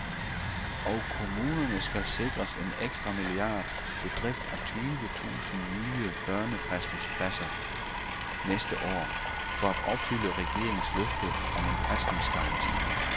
Og kommunerne skal sikres en ekstra milliard til drift af tyve tusind nye børnepasningspladser næste år, for at opfylde regeringens løfte om en pasningsgaranti.